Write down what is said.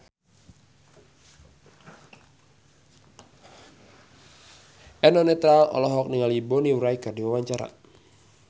Eno Netral olohok ningali Bonnie Wright keur diwawancara